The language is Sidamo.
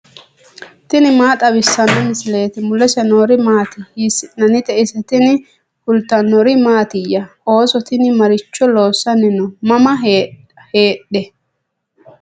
tini maa xawissanno misileeti ? mulese noori maati ? hiissinannite ise ? tini kultannori mattiya? Ooso tinni maricho loosanni noo? mama heedhe?